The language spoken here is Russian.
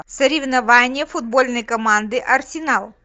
соревнования футбольной команды арсенал